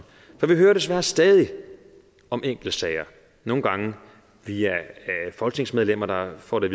for vi hører desværre stadig om enkeltsager nogle gange via folketingsmedlemmer der får det